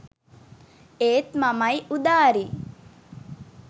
ඒත් මමයි උදාරියි